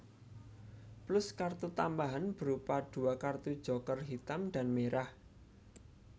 Plus kartu tambahan berupa dua kartu joker hitam dan merah